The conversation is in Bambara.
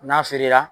N'a feere la